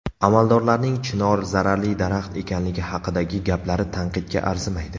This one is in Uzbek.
Amaldorlarning chinor zararli daraxt ekanligi haqidagi gaplari tanqidga arzimaydi.